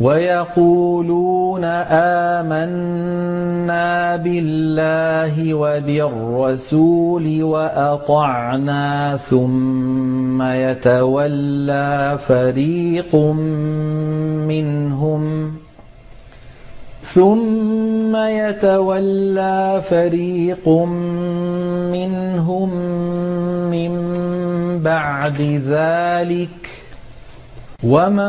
وَيَقُولُونَ آمَنَّا بِاللَّهِ وَبِالرَّسُولِ وَأَطَعْنَا ثُمَّ يَتَوَلَّىٰ فَرِيقٌ مِّنْهُم مِّن بَعْدِ ذَٰلِكَ ۚ وَمَا